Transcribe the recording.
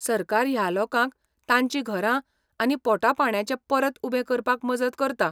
सरकार ह्या लोकांक तांचीं घरां आनी पोटापाणयाचें परत उबें करपाक मजत करता?